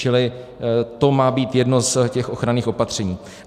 Čili to má být jedno z těch ochranných opatření.